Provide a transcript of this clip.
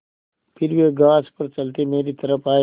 फिर वे घास पर चलते मेरी तरफ़ आये